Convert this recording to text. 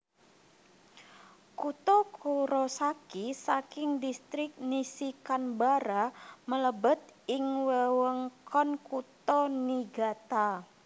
Kutha Kurosaki saking Distrik Nishikanbara mlebet ing wewengkon Kutha Niigata